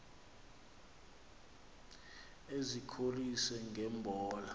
ezikholise nge mbola